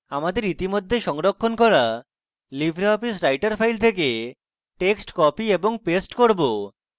আমাদের ইতিমধ্যে সংরক্ষণ করা libreoffice writer file থেকে texts copy এবং paste করব